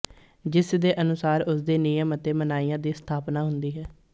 ਜਿਸ ਦੇ ਅਨੁਸਾਰ ਉਸਦੇ ਨਿਯਮ ਅਤੇ ਮਨਾਹੀਆਂ ਦੀ ਸਥਾਪਨਾ ਹੁੰਦੀ ਹੈ